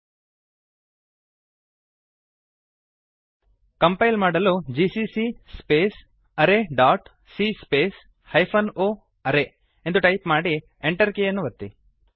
compile ಮಾಡಲು GCC arrayಸಿಎ o array GCC space array dot C space hyphen O array ಎಂದು type ಮಾಡಿ Enter ಕೀಯನ್ನು ಒತ್ತಿ